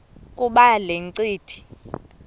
kuba le ncindi